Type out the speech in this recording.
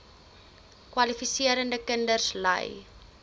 kwalifiserende kinders ly